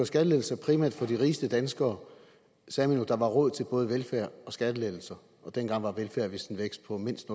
skattelettelser primært for de rigeste danskere sagde man jo at der var råd til både velfærd og skattelettelser og dengang var velfærd vist en vækst på mindst